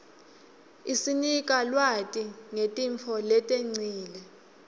isinika lwati ngetintfo letengcile